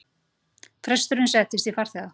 Presturinn settist í farþega